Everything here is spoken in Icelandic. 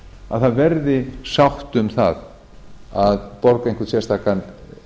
að það verði sátt um það að borga einhvern sérstakan